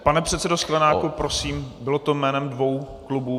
Pane předsedo Sklenáku, prosím, bylo to jménem dvou klubů?